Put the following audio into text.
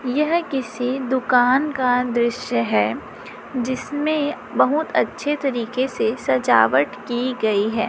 यह किसी दुकान का दृश्य है जिसमें बहुत अच्छे तरीके से सजावट की गई है।